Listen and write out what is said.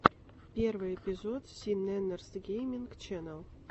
первый эпизод си нэннерс гейминг ченнел